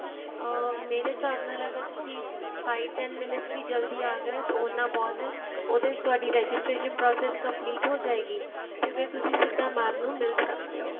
ਅਹ ਮੇਰੇ ਹਿਸਾਬ ਨਾਲ ਅਗਰ ਤੁਸੀਂ five ten minutes ਵੀ ਜੱਲਦੀ ਆ ਗਏ ਤਾਂ ਉਂਨਾ ਬਹੁਤ ਏ ਉਹਦੇ ਵਿੱਚ ਤੁਹਾਡੀ registration process complete ਹੋ ਜਾਏਗੀ ਤੇ ਫ਼ਿਰ ਤੁਸੀਂ ਸਿੱਧਾ mam ਨੂੰ ਮਿਲ ਸਕਦੇ ਓ